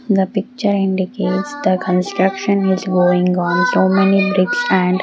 the picture indicates the construction is going on so many bricks and --